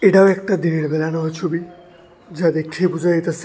এটাও একটা দিনের বেলা নেওয়া ছবি যা দেখেই বোঝা যাইতাসে।